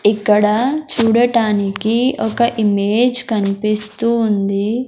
ఇక్కడ చూడటానికి ఒక ఇమేజ్ కన్పిస్తూ ఉంది.